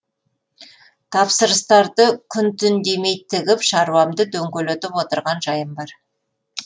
тапсырыстарды күн түн демей тігіп шаруамды дөңгелетіп отырған жайым бар